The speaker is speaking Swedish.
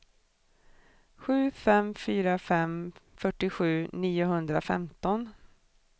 sju fem fyra fem fyrtiosju niohundrafemton